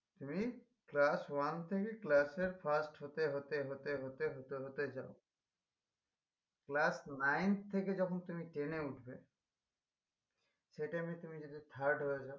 তুমি class one থেকে class এর first হতে হতে হতে হতে হতে হতে যাও class ninth থেকে যখন তুমি ten এ উঠবে সেই time এ যদি তুমি thirth হয়ে যাও